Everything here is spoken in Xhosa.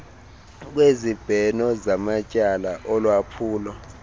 kwezibheno zamatyala olwaphulo